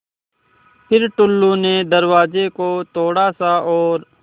फ़िर टुल्लु ने दरवाज़े को थोड़ा सा और